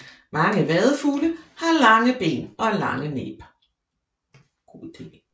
Mange vadefugle har lange ben og lange næb